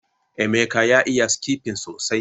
Emeka ya iya skipping sosai